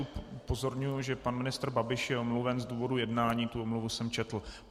Upozorňuji, že pan ministr Babiš je omluven z důvodu jednání, tu omluvu jsem četl.